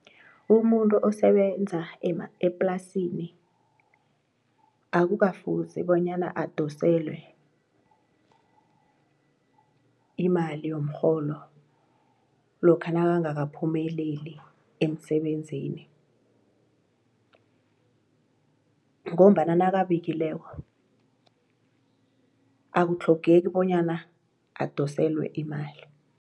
Umuntu osebenza eplasini akukafuzi bonyana adoselwe imali yomrholo lokha nakangakaphumeleli emsebenzini ngombana nakabikileko akutlhogeki bonyana adoselwe imali.